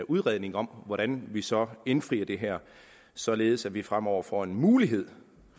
udredning om hvordan vi så indfrier det her således at vi fremover får en mulighed